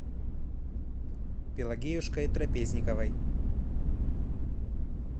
пелагеюшкой трапезниковой